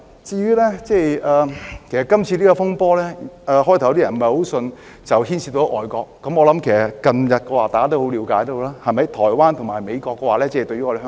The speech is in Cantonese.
這次風波，最初有些人不太相信牽涉外國，我相信近日大家都已了解到，台灣和美國非常關心香港。